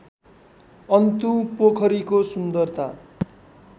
अन्तु पोखरीको सुन्दरता